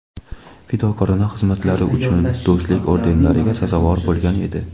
"Fidokorona xizmatlari uchun" va "Do‘stlik" ordenlariga sazovor bo‘lgan edi.